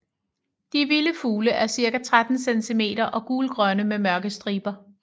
De vilde fugle er cirka 13 cm og gulgrønne med mørke striber